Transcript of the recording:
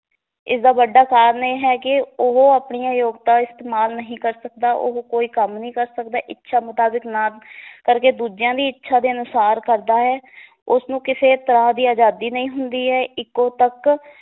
ਇਸ ਦਾ ਵੱਡਾ ਕਾਰਨ ਇਹ ਹੈ ਕਿ ਉਹ ਆਪਣੀਆਂ ਯੋਗਤਾ ਇਸਤੇਮਾਲ ਨਹੀਂ ਕਰ ਸਕਦਾ, ਉਹ ਕੋਈ ਕੰਮ ਨਹੀਂ ਕਰ ਸਕਦਾ, ਇੱਛਾ ਮੁਤਾਬਕ ਨਾ ਕਰਕੇ ਦੂਜਿਆਂ ਦੀ ਇੱਛਾ ਦੇ ਅਨੁਸਾਰ ਕਰਦਾ ਹੈ ਉਸ ਨੂੰ ਕਿਸੇ ਤਰਾਂ ਦੀ ਅਜਾਦੀ ਨਹੀ ਹੁੰਦੀ ਏ ਇੱਕੋ ਪੱਕ